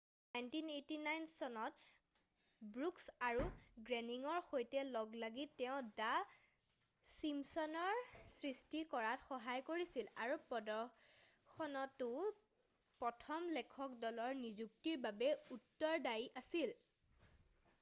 1989 চনত ব্ৰুকছ আৰু গ্ৰেনিংৰ সৈতে লগ লাগি তেওঁ দা ছিম্পচনছৰ সৃষ্টি কৰাত সহায় কৰিছিল আৰু প্ৰদৰ্শনটোৰ প্ৰথম লেখক দলৰ নিযুক্তিৰ বাবে উত্তৰদায়ী আছিল